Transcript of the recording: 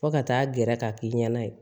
Fo ka taa gɛrɛ k'a k'i ɲɛna